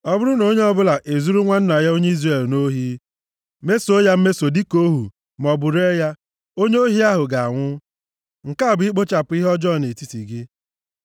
Ọ bụrụ na onye ọbụla ezuru nwanna ya onye Izrel nʼohi, mesoo ya mmeso dịka ohu, maọbụ ree ya, onye ohi ahụ ga-anwụ. Nke a bụ ikpochapụ ihe ọjọọ nʼetiti gị.